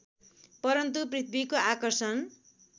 परन्तु पृथ्वीको आकर्षण